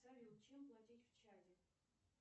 салют чем платить в чаде